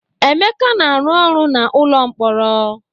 Emeka na-arụ ọrụ na n'ụlọ mkpọrọ.